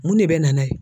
Mun de bɛ na n'a ye